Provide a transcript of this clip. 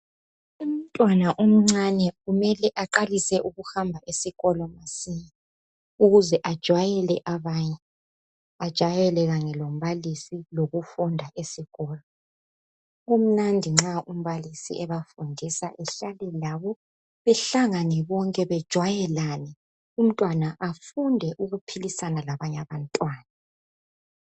Umntwana omncane kumele aqalise ukuhamba esikolo masinya, ukuze ajwayele abanye, Ajayele kanye lombalisi, lokufunda esikolo. Kumnandi nxa umbalisi ebafundisa, ehlale labo. Behlangane bonke, bejwayelane. Umntwana afunde ukuphilisana labanye abantwana.